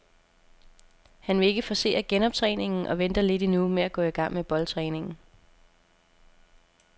Han vil ikke forcere genoptræningen og venter lidt endnu med at gå i gang med boldtræningen.